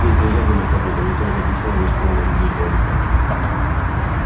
нет нельзя думать об этом не то я закричу на весь полный людей дом